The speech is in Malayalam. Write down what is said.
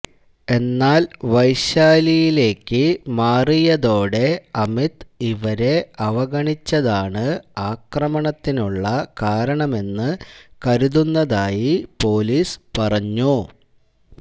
എന്നാല് വൈശാലിയിലേക്ക് മാറിയതോടെ അമിത് ഇവരെ അവഗണിച്ചതാണ് ആക്രമണത്തിനുള്ള കാരണമെന്ന് കരുതുന്നതായി പോലീസ് പറഞ്ഞു